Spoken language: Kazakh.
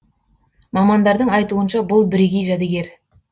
мамандардың айтуынша бұл бірегей жәдігер